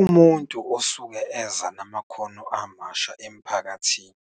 Umuntu osuke eza namakhono amasha emphakathini